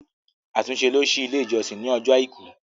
Atunse ló si ile ijọsin ní Ọjọ́ aìkú!